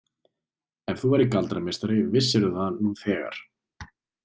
Ef þú værir galdrameistari vissirðu það nú þegar.